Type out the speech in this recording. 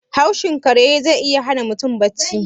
Haushin kare ze iya hana mutum bacci.